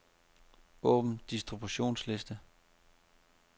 Åbn distributionsliste.